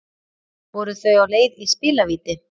Voru þau á leið í spilavíti